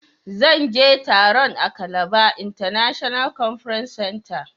zan je taron a Calabar International conference center.